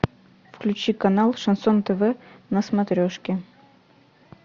включи канал шансон тв на смотрешке